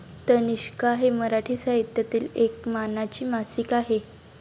तनिष्का हे मराठी साहित्यातील एक मानाचे मासिक आहे.